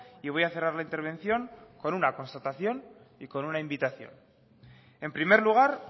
y voy a cerrar la intervención con una constatación y con una invitación en primer lugar